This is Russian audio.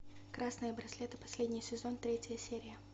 красные браслеты последний сезон третья серия